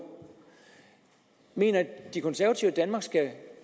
mener de konservative at danmark skal